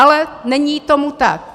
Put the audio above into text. Ale není tomu tak.